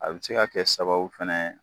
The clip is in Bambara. A be se ka kɛ sababu fɛnɛ ye